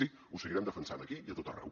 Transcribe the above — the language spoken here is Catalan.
sí ho seguirem defensant aquí i a tot arreu